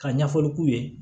Ka ɲɛfɔli k'u ye